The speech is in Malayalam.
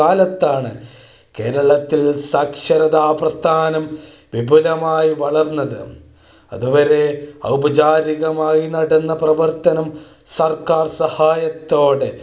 കാലത്താണ് കേരളം ത്തിൽ സാക്ഷരതാപ്രസ്ഥാനം വിപുലമായി വളർന്നത് അതുവരെ ഔപചാരികമായി നടന്ന പ്രവർത്തനം സർക്കാർ സഹായത്തോടെ